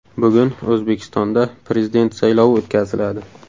Bugun O‘zbekistonda Prezident saylovi o‘tkaziladi.